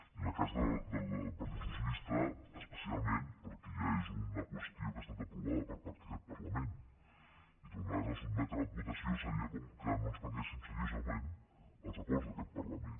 i en el cas de la del partit socialista especialment perquè ja és una qüestió que ha estat aprovada per part d’aquest parlament i tornar la a sotmetre a votació seria com que no ens prenguéssim seriosament els acords d’aquest parlament